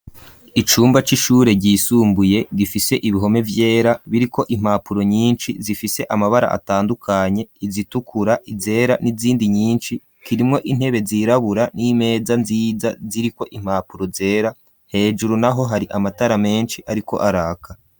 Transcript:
Icumba c'ishure ryisumbuye gifise ibihome vyera biriko impapuro nyinshi zifise amabara atandukanye izitukura, izera n'izindi nyinshi kirimwo intebe zirabura n'imeza nziza ziriko impapuro zera hejuru naho hari amatara menshi ariko araka.